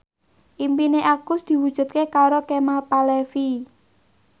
impine Agus diwujudke karo Kemal Palevi